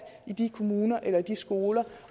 i de kommuner eller de skoler